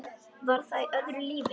Var það í öðru lífi?